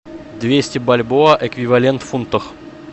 двести бальбоа эквивалент в фунтах